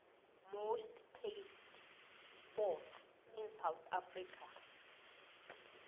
most played sports in south africa